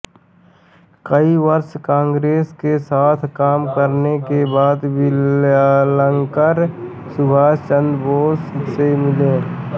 कई वर्ष काँग्रेस के साथ काम करने के बाद विद्यालंकर सुभाष चन्द्र बोस से मिले